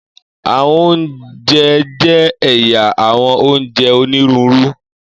Àwọn ounjẹ jẹ ẹya àwọn ounjẹ oniruuru.